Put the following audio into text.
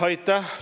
Aitäh!